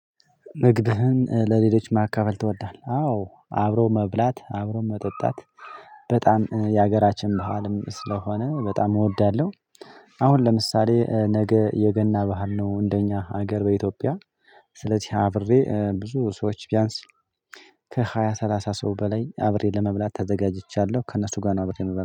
ንግድህን ለሌሎች ማካፈል ትወዳለህ? አዎ አብሮ መብላት አብሮ መጠጣት በጣም የሀገራችን ባህልም ስለሆነ በጣም እወዳለሁ። አሁን ለምሳሌ ነገ የገና ባዓል ነው እንደኛ ሀገር በኢትዮጵያ። ስለዚህ አብሬ ብዙ ሰዎች ቢያንስ ከሃያ ሰላሳ ሰው በላይ አብሬ ለመብላት ተዘጋጅቻለሁ። ከእነሱ ጋር ነው አብሬ እምበላው